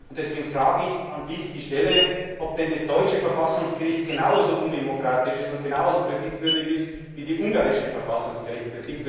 Deswegen frage ich Dich, ob denn das deutsche Verfassungsgericht genauso undemokratisch und genauso kritikwürdig ist wie das ungarische Verfassungsgericht.